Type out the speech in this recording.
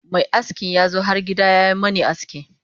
Mai askin yazo har gida ya Mani aski